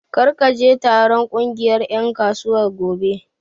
Kar ka je taron ƙungiyar ƴan kasuwar gobe!